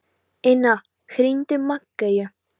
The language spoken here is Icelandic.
Inna, hringdu í Maggeyju.